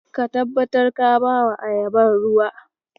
Ka tabbatar ka bawa ayabar ruwa.